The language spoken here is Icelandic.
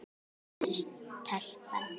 spurði telpan.